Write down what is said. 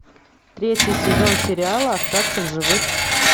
третий сезон сериала остаться в живых